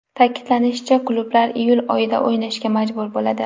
Ta’kidlanishicha, klublar iyul oyida o‘ynashga majbur bo‘ladi.